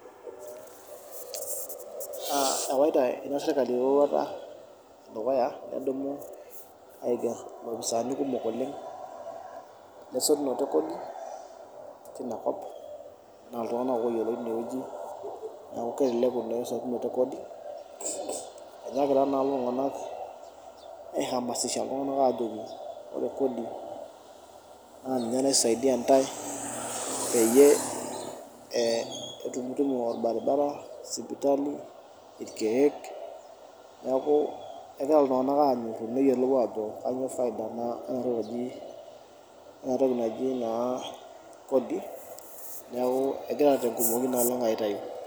Ewaita ina sirkali dukuya pee edumu aiger lopisaani kumok oleng lesotunoto ekodi tina kop naa iltunganak oyioloi tineweji. Neeku kelelek oleng esotunoto ekodi, enyaakita naa lelo tunganak aihamasisha iltunganak ajoki ore kodi naa ninye naisaidia ntae peyie itumtumu orbaribara, sipitali, irkeek neeku kegira iltunganak anyoru neyiolo ajo kainyo faida ena toki naji kodi .Neeku egira naa tenkumoki aitayu.